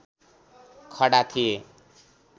खडा थिए